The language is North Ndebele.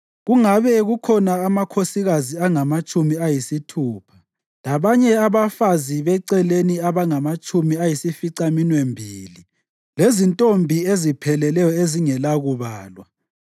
Kungabe kukhona amakhosikazi angamatshumi ayisithupha, labanye abafazi beceleni abangamatshumi ayisificaminwembili, lezintombi ezipheleleyo ezingelakubalwa;